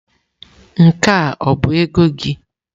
Nke a ọ bụ ego gị?